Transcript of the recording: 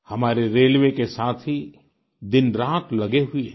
हमारे रेलवे के साथी दिनरात लगे हुए हैं